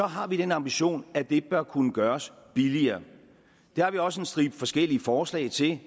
har vi den ambition at det bør kunne gøres billigere det har vi også en stribe forskellige forslag til